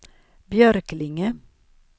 Björklinge